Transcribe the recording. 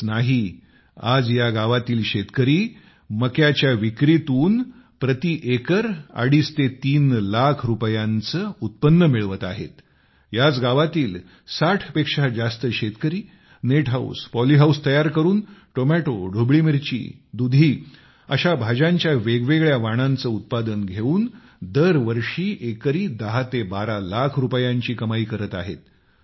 इतकेच नाही याच गावातील 60 पेक्षा जास्त शेतकरी नेट हाऊस पॉलिहाऊस तयार करून टोमॅटो सिमला मिरची दुधी अशा भाज्यांच्या वेगवेगळ्या वाणांचे उत्पादन घेऊन दर वर्षी एकरी 10 ते 12 लाख रुपयांची कमाई करत आहेत